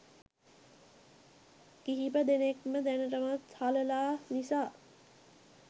කිහිපදෙනෙක්ම දැනටමත් හලලා නිසා.